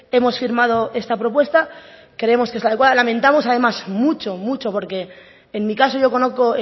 hemos firmado esta propuesta creemos que es la adecuada lamentamos además mucho mucho porque en mi caso yo conozco